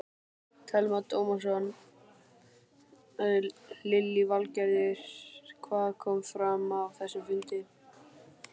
Telma Tómasson: Lillý Valgerður, hvað kom fram á þessum fundi?